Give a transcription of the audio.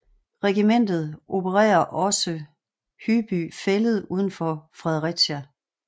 Regimentet opererer også Hyby Fælled uden for Fredericia